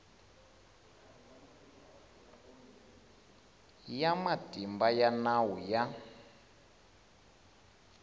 ya matimba ya nawu ya